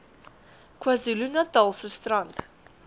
kwazulu natalse strand